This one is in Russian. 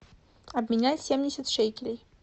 обменять семьдесят шекелей